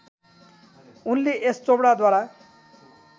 उनले यश चोपडाद्वारा